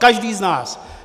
Každý z nás.